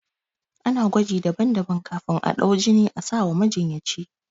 Ana gwaji daban daban kafin a ɗau jinin asawa majinyaci